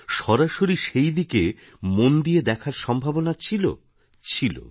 সরাসরি সেই দিকে মন দিয়ে দেখার সম্ভাবনা ছিল ছিল